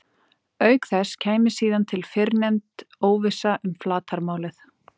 Auk þess kæmi síðan til fyrrnefnd óvissa um flatarmálið.